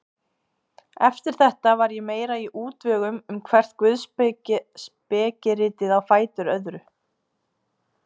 Eftir þetta var ég mér í útvegum um hvert guðspekiritið á fætur öðru.